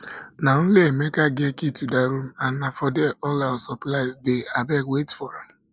na only emeka get key to dat room and na for there all our supplies dey abeg wait for am